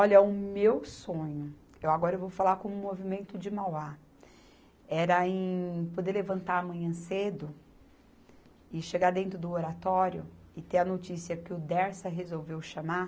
o meu sonho, eu agora eu vou falar como movimento de Mauá, era em poder levantar amanhã cedo e chegar dentro do Oratório e ter a notícia que o Dersa resolveu chamar